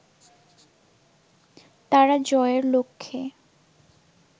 তারা জয়ের লক্ষ্যে